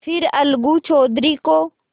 फिर अलगू चौधरी को